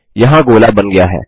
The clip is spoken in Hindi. यहाँ गोला बन गया है